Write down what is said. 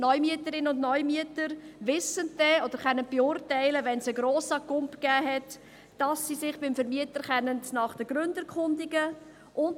Neumieterinnen und -mieter erkennen allfällige Mietaufschläge sofort und können sich nach den Gründen erkundigen.